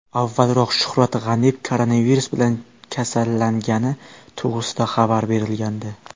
Avvalroq Shuhrat G‘aniyev koronavirus bilan kasallangani to‘g‘risida xabar berilgandi .